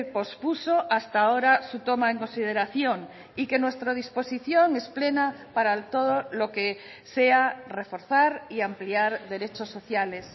pospuso hasta ahora su toma en consideración y que nuestra disposición es plena para todo lo que sea reforzar y ampliar derechos sociales